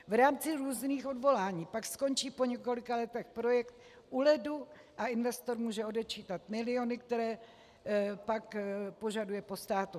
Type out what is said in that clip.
V rámci různých odvolání pak skončí po několika letech projekt u ledu a investor může odečítat miliony, které pak požaduje po státu.